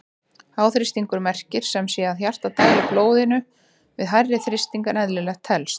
Háþrýstingur merkir sem sé að hjartað dælir blóðinu við hærri þrýsting en eðlilegt telst.